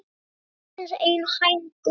Var aðeins einn hængur á.